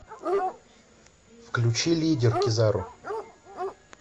включи лидер кизару